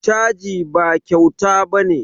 Caji ba kyauta ba ne